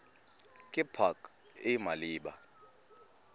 ke pac e e maleba